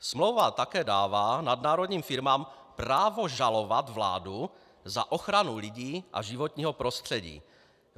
Smlouva také dává nadnárodním firmám právo žalovat vládu za ochranu lidí a životního prostředí.